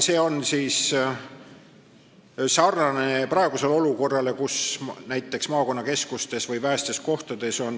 See on sarnane praeguse olukorraga, kus hääletamisvõimalus on olemas näiteks maakonnakeskustes või vähestes kohtades.